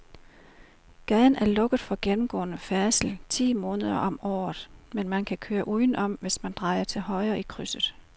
Gaden er lukket for gennemgående færdsel ti måneder om året, men man kan køre udenom, hvis man drejer til højre i krydset.